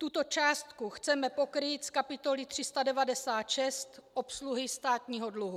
Tuto částku chceme pokrýt z kapitoly 396 - Obsluha státního dluhu.